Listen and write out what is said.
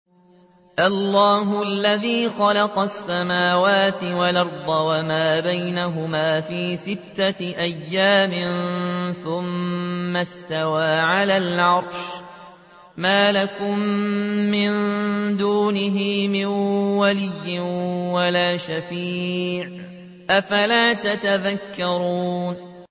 اللَّهُ الَّذِي خَلَقَ السَّمَاوَاتِ وَالْأَرْضَ وَمَا بَيْنَهُمَا فِي سِتَّةِ أَيَّامٍ ثُمَّ اسْتَوَىٰ عَلَى الْعَرْشِ ۖ مَا لَكُم مِّن دُونِهِ مِن وَلِيٍّ وَلَا شَفِيعٍ ۚ أَفَلَا تَتَذَكَّرُونَ